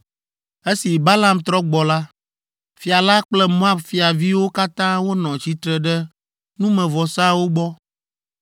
Esi Balaam trɔ gbɔ la, fia la kple Moab fiaviwo katã wonɔ tsitre ɖe numevɔsawo gbɔ.